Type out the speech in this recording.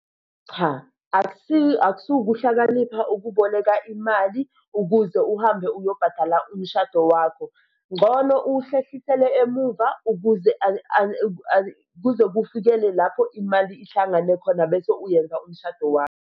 Cha, asikho ukuhlakanipha ukuboleka imali ukuze uhambe uyobhadala umshado wakho, ngcono uwuhlehlisele emuva ukuze kuze kufikele lapho imali ihlangane khona bese uyenza umshado wakho.